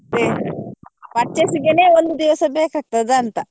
ಅದೆ purchase ಗೆನೆ ಒಂದು ದಿವಸ ಬೇಕಾಗ್ತದೆ ಅಂತ.